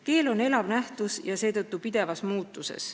Keel on elav nähtus ja seetõttu pidevas muutuses.